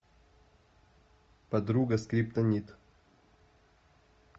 подруга скриптонит